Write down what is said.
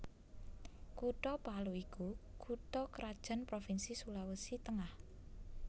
Kutha Palu iku kutha krajan provinsi Sulawesi Tengah